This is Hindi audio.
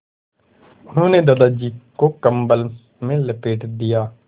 उन्होंने दादाजी को कम्बल में लपेट दिया